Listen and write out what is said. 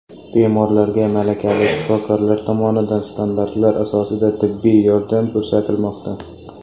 Bemorlarga malakali shifokorlar tomonidan standartlar asosida tibbiy yordam ko‘rsatilmoqda.